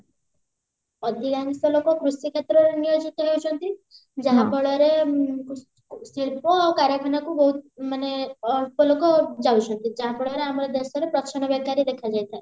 ଅଧିକାଂଶ ଲୋକ କୃଷି କ୍ଷେତ୍ରରେ ନିୟୋଜିତ ହେଉଛନ୍ତି ଯାହା ଫଳରେ ଶିଳ୍ପ ଆଉ କାରଖାନାକୁ ବହୁତ ମାନେ ଅଳ୍ପ ଲୋକ ଯାଉଛନ୍ତି ଯାହା ଫଳରେ ଆମ ଦେଶରେ ପ୍ରଚ୍ଛନ୍ନ ବେକାରୀ ଦେଖାଯାଇଥାଏ